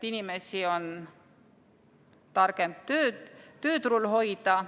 Inimesi on targem tööturul hoida.